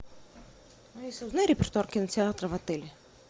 алиса узнай репертуар кинотеатра в отеле